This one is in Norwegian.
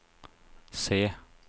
se